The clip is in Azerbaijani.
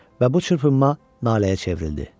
Və bu çırpınma naləyə çevrildi.